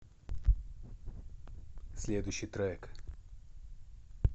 следующий трек